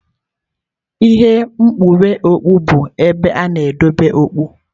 Ihe nkwụnye okpu bụ ebe a na-edebe okpu.